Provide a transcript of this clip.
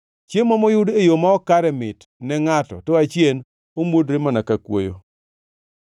Chiemo moyud e yo ma ok kare mit ne ngʼato, to achien omuodore mana ka kuoyo.